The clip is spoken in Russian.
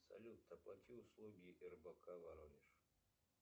салют оплати услуги рбк воронеж